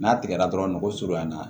N'a tigɛra dɔrɔn nogo surunya na